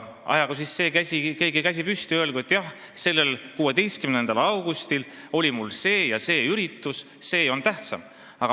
Ajagu siis see keegi käsi püsti ja öelgu, et jah, 16. augustil oli mul see ja see üritus, see oli tähtsam.